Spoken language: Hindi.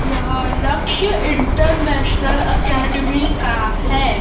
यह लक्ष्य इंटरनेशनल एकेडमी का है।